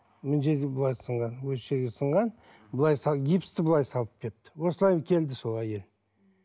мына жерде былай сынған осы жерде сынған былай гипсті былай салып беріпті осылай келді сол әйел